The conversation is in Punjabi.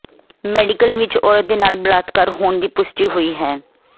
ਮੈਡੀਕਲ ਵਿੱਚ ਔਰਤ ਦੇ ਨਾਲ ਬਲਾਤਕਾਰ ਹੋਣ ਦੀ ਪੁਸ਼ਟੀ ਹੋਈ ਹੈ